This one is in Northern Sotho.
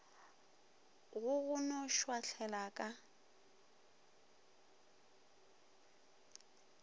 go go no šwahlela ka